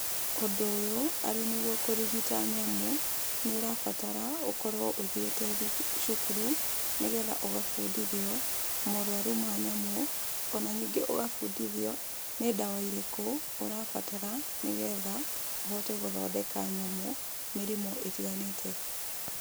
Ũndũ ũyũ arĩ nĩguo kũrigita nyamũ, nĩũrabatara ũkorwo ũthiĩte cukuru nĩgetha ũgabundithio, morwaru ma nyamũ, ona ningĩ ũgabundithia nĩ ndawa irĩkũ ũrabatara nĩgetha ũhote gũthondeka nyamũ mĩrimũ ĩtiganĩte.